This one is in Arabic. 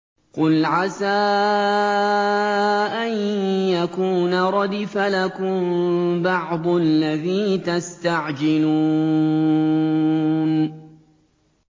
قُلْ عَسَىٰ أَن يَكُونَ رَدِفَ لَكُم بَعْضُ الَّذِي تَسْتَعْجِلُونَ